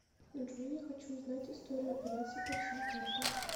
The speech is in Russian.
джой я хочу узнать историю операций по всем картам